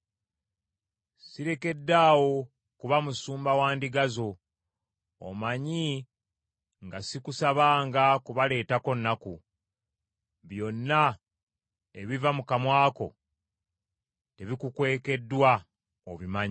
Sirekeddaawo kuba musumba wa ndiga zo, omanyi nga sikusabanga kubaleetako nnaku. Byonna ebiva mu kamwa kange tebikukwekeddwa, obimanyi.